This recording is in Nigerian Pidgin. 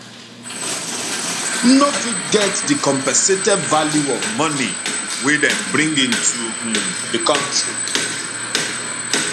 no fit get di compensated value of money wey dem bring into um di kontri